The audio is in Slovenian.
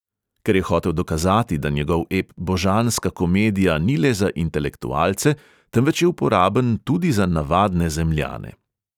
Ker je hotel dokazati, da njegov ep božanska komedija ni le za intelektualce, temveč je uporaben tudi za navadne zemljane.